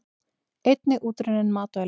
Einnig útrunnin matvæli.